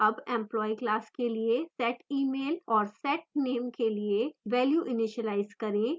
अब employee class के लिए setemail और setname के लिए value इनीशिलाइज करें